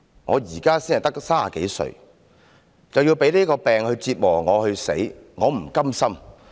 我現在才30多歲，便要被這個病折磨至死，我不甘心。